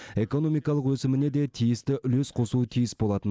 экономикалық өсіміне де тиісті үлес қосуы тиіс болатын